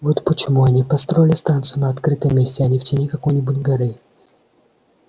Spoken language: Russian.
вот почему они и построили станцию на открытом месте а не в тени какой-нибудь горы